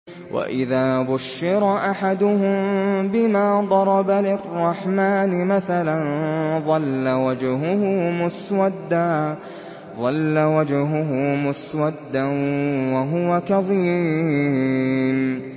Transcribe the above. وَإِذَا بُشِّرَ أَحَدُهُم بِمَا ضَرَبَ لِلرَّحْمَٰنِ مَثَلًا ظَلَّ وَجْهُهُ مُسْوَدًّا وَهُوَ كَظِيمٌ